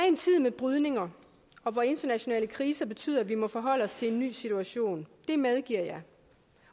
en tid med brydninger og hvor internationale kriser betyder at vi må forholde os til en ny situation det medgiver jeg